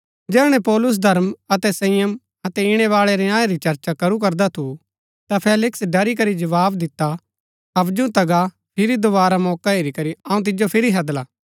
जैहणै पौलुस धर्म अतै संयम अतै ईणैबाळै न्याय री चर्चा करू करदा थु ता फेलिक्स ड़री करी जवाव दिता हवजु ता गा फिरी दोवारा मौका हेरी करी अऊँ तिजो फिरी हैदला